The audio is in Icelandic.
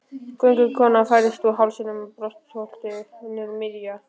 Göngukonan færðist úr hálsinum og brjóstholinu niður um sig miðja.